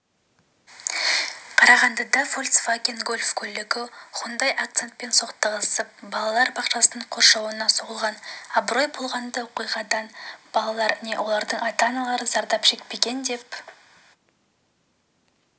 қарағандыда фольксваген гольф көлігі хундай акцентпен соқтығысып балалар бақшасының қоршауына соғылған абырой болғанда оқиғадан балалар не олардың ата-аналары зардап шекпеген деп